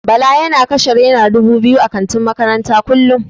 Bala yana kashe naira dubu biyu a kantin makarantar kullum.